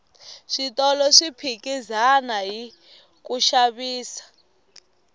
switolo swi ohikizana hiku xavisa